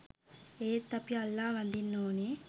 එත් අපි අල්ලා වදින්න ඕන.